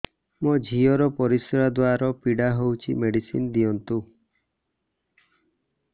ମୋ ଝିଅ ର ପରିସ୍ରା ଦ୍ଵାର ପୀଡା ହଉଚି ମେଡିସିନ ଦିଅନ୍ତୁ